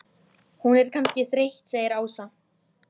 Hún er kannski þreytt segir Ása.